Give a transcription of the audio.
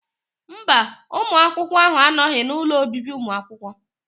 Mba, ụmụ akwụkwọ ahụ anọghị n'ụlọ obibi ụmụ akwụkwọ